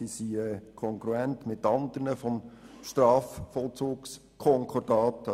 Sie sind kongruent mit anderen Hausordnungen des Strafvollzugskonkordats.